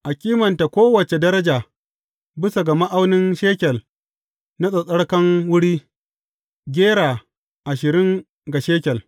A kimanta kowace daraja bisa ga ma’aunin shekel na tsattsarkan wuri, gera ashirin ga shekel.